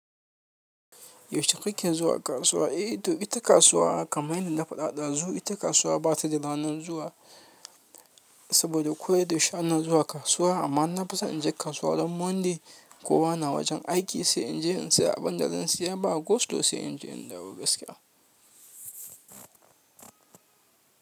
Yaushe kake zuwa kasuwa? Eh, to ita kasuwa kamar yadda na faɗa ɗazun. Ita kasuwa ba ta da ranar zuwa saboda koda yaushe ana zuwa kasuwa amma na fisan in je kasuwa ran Monday. Kowa na wajen aiki sai in je in siya abin da zan siya ba, go slow sai in je in dawo gaskiya.